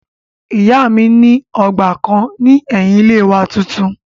Ìyá mi ní ọgbà kan ní ẹ̀yin ilé wa tuntun